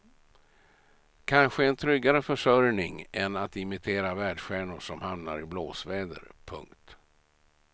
Kanske en tryggare försörjning än att imitera världsstjärnor som hamnar i blåsväder. punkt